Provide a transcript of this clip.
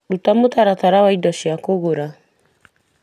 Ruta mũtaratara wa indo cia kũgũra